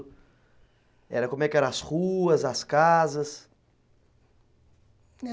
Era, como é que eram as ruas, as casas? É